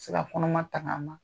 A bɛ se ka kɔnɔma tanga ma.